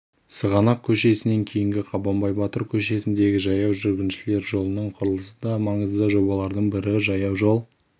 сығанақ көшесінен дейінгі қабанбай батыр көшесіндегі жаяу жүргіншілер жолының құрылысы да маңызды жобалардың бірі жаяужол